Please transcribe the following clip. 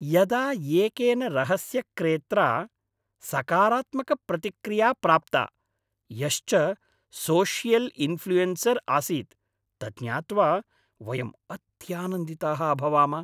यदा एकेन रहस्यक्रेत्रा सकारात्मकप्रतिक्रिया प्राप्ता, यश्च सोशियल् इन्फ़्ल्यूयेन्सर् आसीत्, तज्ज्ञात्वा वयं अत्यानन्दिताः अभवाम।